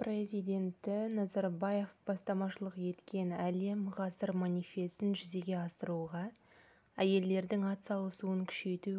президенті назарбаев бастамашылық еткен әлем ғасыр манифесін жүзеге асыруға әйелдердің атсалысуын күшейту